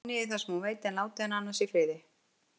Skráið niður það sem hún veit, en látið hana annars í friði.